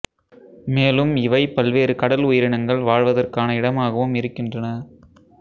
மேலும் இவை பல்வேறு கடல் உயிரினங்கள் வாழ்வதற்கான இடமாகவும் இருக்கின்றன